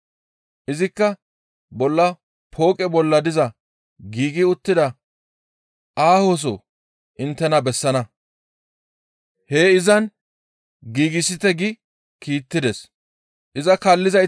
Izikka bolla pooqe bolla diza giigi uttida aahoso inttena bessana; heen izan giigsite» gi kiittides. Pooqe bolla diza nam7u kifileta